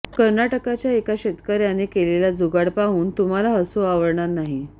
कर्नाटकच्या एका शेतकऱ्याने केलेला जुगाड पाहून तुम्हाला हसू आवरणार नाही